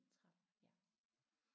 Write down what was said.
30 ja